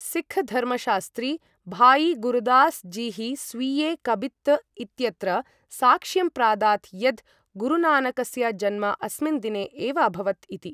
सिख धर्मशास्त्री भाई गुरदासजिः स्वीये 'कबित्त्' इत्यत्र साक्ष्यं प्रादात् यद् गुरुनानकस्य जन्म अस्मिन् दिने एव अभवत् इति।